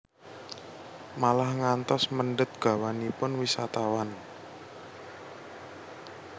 Malah ngantos mendhet gawanipun wisatawan